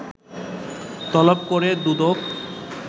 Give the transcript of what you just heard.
তলব করে দুদক